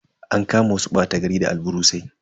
An kama wasu bata gari da alburusai.